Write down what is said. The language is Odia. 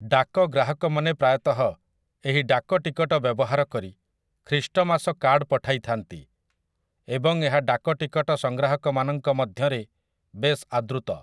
ଡାକ ଗ୍ରାହକମାନେ ପ୍ରାୟତଃ ଏହି ଡାକ ଟିକଟ ବ୍ୟବହାର କରି ଖ୍ରୀଷ୍ଟମାସ କାର୍ଡ଼ ପଠାଇଥାନ୍ତି, ଏବଂ ଏହା ଡାକ ଟିକଟ ସଙ୍ଗ୍ରାହକମାନଙ୍କ ମଧ୍ୟରେ ବେଶ୍ ଆଦୃତ ।